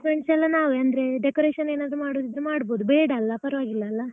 Arrangements ಎಲ್ಲ ನಾವೇ ಅಂದ್ರೆ decoration ಏನಾದ್ರು ಮಾಡುದಿದ್ರೆ ಮಾಡ್ಬಹುದು ಬೇಡಲ್ಲ ಪರ್ವಾಗಿಲ್ಲಲ್ಲಾ?